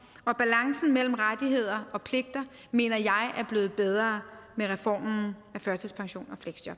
og balancen mellem rettigheder og pligter mener jeg er blevet bedre med reformen af førtidspension